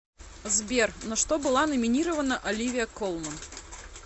сбер на что была номинирована оливия колман